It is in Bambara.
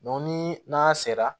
ni n'a sera